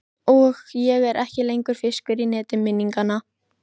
Og ég er ekki lengur fiskur í neti minninganna.